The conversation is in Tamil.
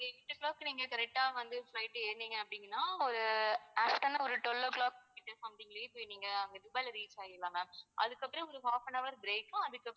eight o'clock க்கு நீங்க correct ஆ நீங்க flight ஏறுனீங்க அப்படின்னா அஹ் ஒரு afternoon ஒரு twelve o'clock கிட்ட something லேயே போய் நீங்க அங்க துபாய்ல reach ஆகிடலாம் ma'am அதுக்கு அப்பறம் உங்களுக்கு half an hour break